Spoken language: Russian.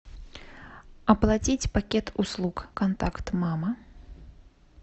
оплатить пакет услуг контакт мама